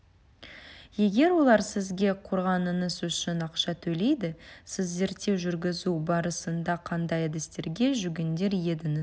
егер олар сізге құрғаныңыз үшін ақша төлейді сіз зерттеу жүргізу барысында қандай әдістерге жүгінер едіңіз